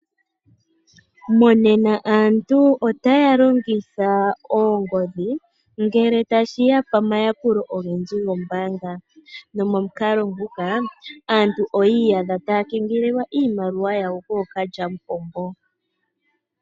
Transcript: Monena aantu otaya longitha oongodhi ngele tashiya pamayakulo ogendji gombaanga. Nomo mukalo nguka aantu oyi iyadha taya kengelelwa iimaliwa yawo kookalya mupombo.